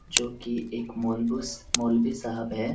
जो की एक मोल्वोस मोलवी साहिब हैं|